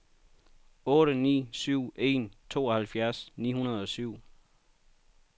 otte ni syv en tooghalvfjerds ni hundrede og syv